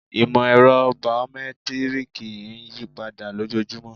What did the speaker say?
Ìmọ̀-ẹ̀rọ̀ baomẹ́tírìkì ń yípadà lójojúmọ́